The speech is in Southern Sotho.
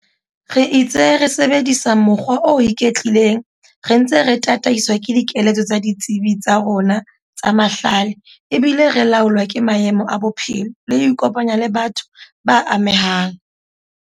Re itse re sebedisa mokgwa o iketlileng re ntse re tataiswa ke dikeletso tsa ditsebi tsa rona tsa mahlale ebile re laolwa ke maemo a bophelo le ho ikopanya le batho ba amehang.